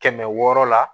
Kɛmɛ wɔɔrɔ la